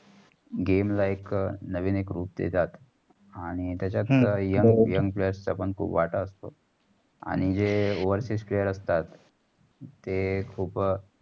game like नवीन एक group देतात आणि त्याच्यात young young players चा पण खूप वाटा असतो. आणि जे वरचे players असतात ते खूप.